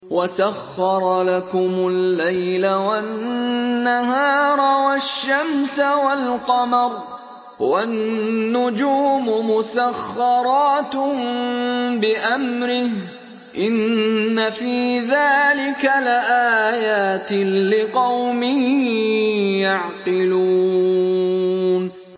وَسَخَّرَ لَكُمُ اللَّيْلَ وَالنَّهَارَ وَالشَّمْسَ وَالْقَمَرَ ۖ وَالنُّجُومُ مُسَخَّرَاتٌ بِأَمْرِهِ ۗ إِنَّ فِي ذَٰلِكَ لَآيَاتٍ لِّقَوْمٍ يَعْقِلُونَ